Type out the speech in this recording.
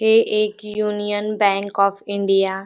हे एक Union Bank of India --